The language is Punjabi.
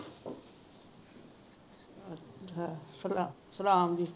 ਸਲਾਮ ਜੀ